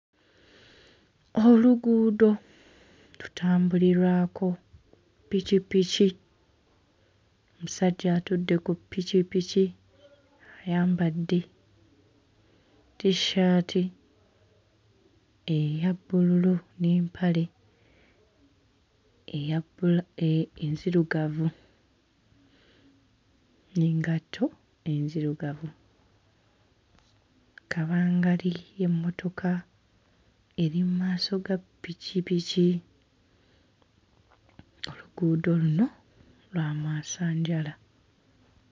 Oluguudo lutambulirwako pikipiki. Omusajja atudde ku pikipiki ayambadde tissaati eya bbululu n'empale eya bbula... enzirugavu n'engatto ezirugavu. Kabangali y'emmotoka eri mu maaso ga pikipiki. Oluguudo luno lwa mwasanjala.